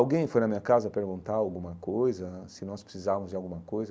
Alguém foi na minha casa perguntar alguma coisa, se nós precisávamos de alguma coisa?